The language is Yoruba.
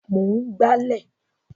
Mò ń gbálẹ̀